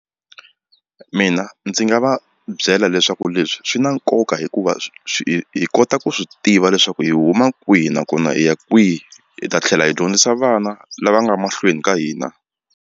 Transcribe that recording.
Mina ndzi nga va byela leswaku leswi swi na nkoka hikuva hi kota ku swi tiva leswaku hi huma kwihi nakona hi ya kwihi hi ta tlhela hi dyondzisa vana lava nga mahlweni ka hina.